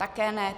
Také ne.